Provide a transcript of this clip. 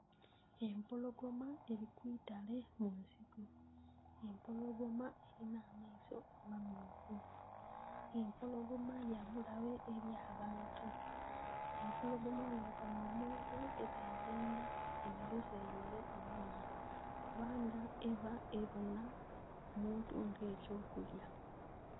Empologoma eli ku itale mu nsiko. Empologoma elina amaiso amamyufu. Empologoma ya bulabe eli abantu. Empologoma bwebonha omuntu eb'eyendha emuyuzeyuze emulye kubanga eba ebonha omuntu nga eky'okulya.